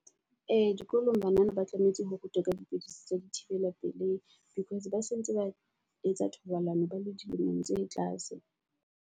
Ee, dikolong banana ba tlametse ho rutwa ka dipidisi tsa di thibela pelehi. Because ba se ntse ba etsa thobalano ba le dilemong tse tlase.